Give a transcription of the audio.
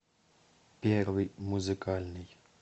первый музыкальный